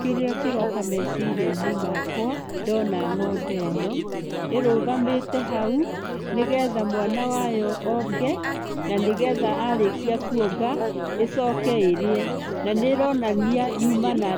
Kĩrĩa kĩroka meciria-inĩ makwa ndona ng'ombe ĩno, ĩrũgamĩte hau, nĩgetha mwana wayo onge, na nĩ getha arĩkia kuonga, ĩcoke ĩrĩe na nĩ ĩronania yuma na